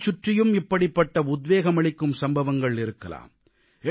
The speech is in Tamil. உங்களைச் சுற்றியும் இப்படிப்பட்ட உத்வேகம் அளிக்கும் சம்பவங்கள் இருக்கலாம்